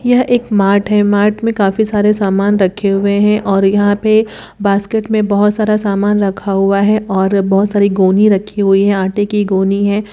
यह एक मार्ट है मार्ट में काफी सारे सामान रखे हुए हैं और यहां पे बास्केट में बहोत सारा सामान रखा हुआ है और बहोत सारी गोनी रखी हुई है आटे की गोनी है।